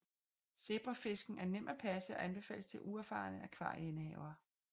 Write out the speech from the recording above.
Zebrafisken er nem at passe og anbefales til uerfarne akvarieindehavere